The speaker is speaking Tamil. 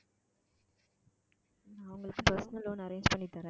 நான் உங்களுக்கு personal loan arrange பண்ணி தரேன்